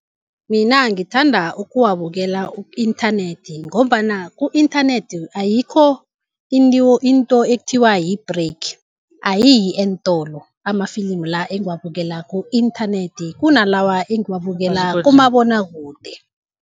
Mina ngithanda ukuwabukela ku-inthanethi ngombana ku-inthanethi ayikho into ekuthiwa yi-break ayiyi eentolo, amafilimu la engiwabukela ku-inthanethi kunalawa engiwabukela kumabonwakude.